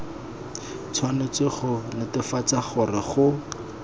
tshwanetse go netefatsa gore go